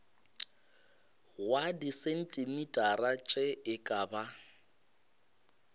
wa disentimetara tše e ka